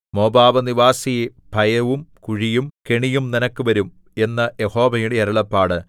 Moab നിവാസിയേ ഭയവും കുഴിയും കെണിയും നിനക്ക് വരും എന്ന് യഹോവയുടെ അരുളപ്പാട്